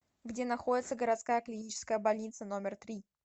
где находится городская клиническая больница номер три